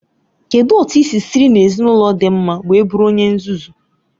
Kedụ otu i siri si n'ezinaụlọ dị mma wee bụrụ onye nzuzu?